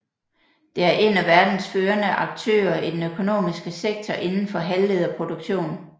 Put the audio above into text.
Det er en af verdens førende aktører i den økonomiske sektor inden for halvlederproduktion